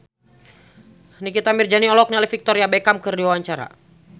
Nikita Mirzani olohok ningali Victoria Beckham keur diwawancara